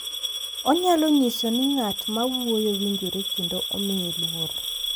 Onyalo nyiso ni ng’at ma wuoyo winjore kendo omiye luor.